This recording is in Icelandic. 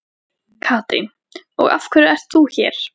Katrín: Og af hverju ert þú hér?